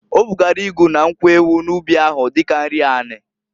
O bugara ịgụ na nkwu ewu n'ụbị ahụ, dika nri ani.